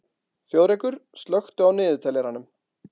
Þjóðrekur, slökktu á niðurteljaranum.